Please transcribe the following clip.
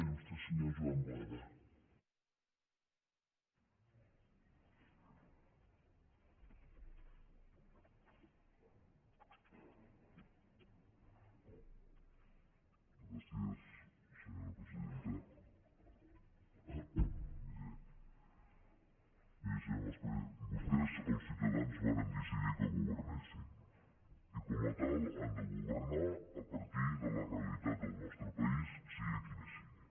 miri senyor mas colell vostès els ciutadans varen decidir que governessin i com a tal han de governar a partir de la realitat del nostre país sigui quina sigui